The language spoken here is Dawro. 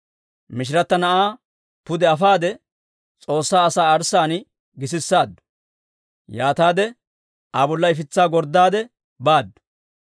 Mishirata na'aa pude afaade, S'oossaa asaa arssaan gisisaaddu. Yaataade Aa bolla ifitsaa gorddaade baaddu.